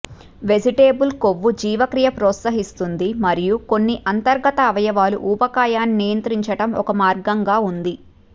vegetable కొవ్వు జీవక్రియ ప్రోత్సహిస్తుంది మరియు కొన్ని అంతర్గత అవయవాలు ఊబకాయాన్ని నియంత్రించటం ఒక మార్గంగా ఉంది